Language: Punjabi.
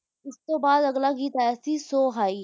ਉਸ ਤੋਂ ਬਾਅਦ ਅਗਲਾ ਗੀਤ ਆਇਆ ਸੀ ਸੋ ਹਾਈ